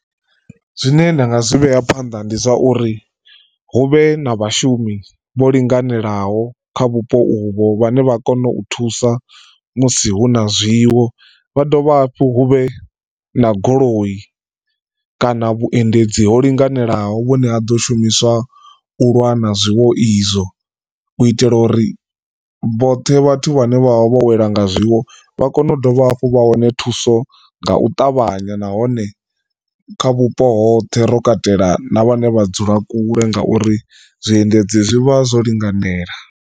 Zwine nda nga zwi vhea phanḓa ndi zwa uri hu vhe na vhashumi vho linganelaho kha vhupo uvho vhane vha kona u thusa musi hu na zwiwo, vha dovha hafhu hu vhe na goloi kana vhuendedzi ho linganelaho vhune ha ḓo shumiswa u lwa na zwiwo izwo. U itela uri vhoṱhe vhathu vhane vha vha vho welwa nga zwiwo vha kone ndi dovha hafhu vha wane thuso nga u ṱavhanya nahone kha vhupo hoṱhe ro katela na vhane vha dzula kule ngauri zwiendedzi zwi vha zwo linganela.